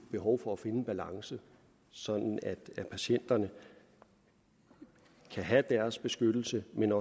behov for at finde en balance sådan at patienterne kan have deres beskyttelse men